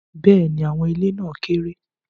Bẹ́ẹ̀ni, awọn ile na keere